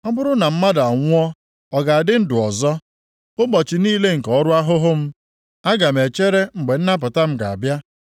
Ọ bụrụ na mmadụ anwụọ, ọ ga-adị ndụ ọzọ? Ụbọchị niile nke ọrụ ahụhụ m, aga m echere mgbe nnapụta m ga-abịa.